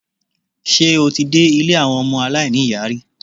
Ṣé o ti dé ilé àwọn ọmọ aláìní-ìyá rí?